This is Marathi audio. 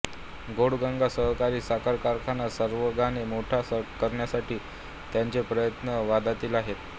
घोडगंगा सहकारी साखर कारखाना सर्वांगाने मोठा करण्यासाठी त्यांचे प्रयत्न वादातीत आहेत